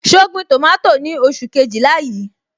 So gbin tomato ni oṣù Kejìlá yí?